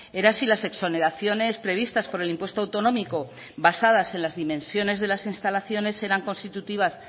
era si las exoneraciones previstas por el impuesto autonómico basadas en las dimensiones de las instalaciones eran constitutivas